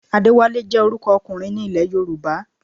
Adéwálé jẹ́ orúkọ ọkùnrin ní ilẹ̀ Yorùbá